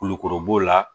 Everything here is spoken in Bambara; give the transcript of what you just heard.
Kulukoro b'o la